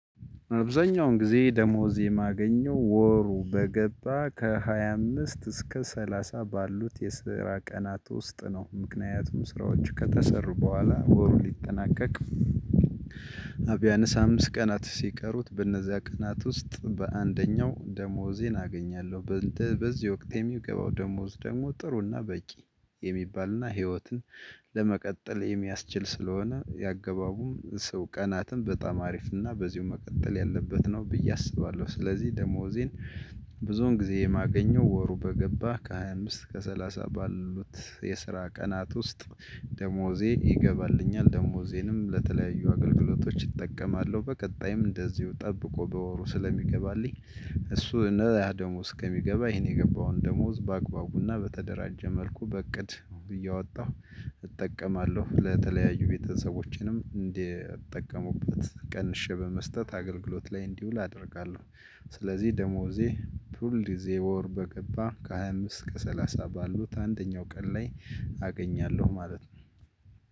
አብዛኛውን ጊዜ ደመወዝ የማገኘው ወሩ በገባ ከሃያ አምስት እስከ ሰላሳ ባሉት የስራ ቀናት ውስጥ ነው። ምክንያቱም ስራዎች ከተሠሩ በኋላ ወሩ ሊጠናቀቅ ቢያንስ አምስት ቀናት ሲቀሩት በእነዚያ ቀናት ውስጥ በአንደኛው ደመወዜን አገኛለሁ። በእንተ በዚህ ወቅት የሚገባው ደመወዝ ደግሞ ጥሩ እና በቂ የሚባል እና ህይወትን ለመቀጠል የሚያስችል ስለሆነ የአገባቡም ሰው ቀናትም በጣም አሪፍ እና በዚሁ መቀጠል ያለበት ነው ብዬ አስባለሁ። ስለዚህ ደመወዜን ብዙውን ጊዜ የማገኘው ወሩ በገባ ከሃያ አምስት እስከ ሰላሳ ባሉት የስራ ቀናት ውስጥ ደመወዜ ይገባልኛል። ደመወዜንም ለተለያዩ አገልግሎቶች እጠቀማለሁ በቀጣይም እንደዚሁ ጠብቆ በወሩ ስለሚገባልኝ እሱ እነ ያ ደሞዝ እስከሚገባ ይሄን የገባውን ደሞዝ በአግባቡና በተደራጀ መልኩ በእቅድ እያወጣሁ እጠቀማለሁ። ለተለያዩ ቤተሰቦቼንም እንዲጠቀሙበት ቀንሼ በመስጠት አገልግሎት ላይ እንዲውል አደርጋለሁ። ስለዚህ ደመወዜ ሁልጊዜ ወር በገባ ከሃያ አምስት እስከ ሰላሳ ባሉት አንደኛው ቀን ላይ አገኛለሁ። ማለት ነው።